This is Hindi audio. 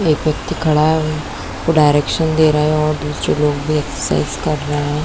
एक व्यक्ति खड़ा है वो डायरेक्शन दे रहा है दूसरे लोग भी एक्सरसाइज कर रहै हैं।